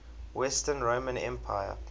western roman empire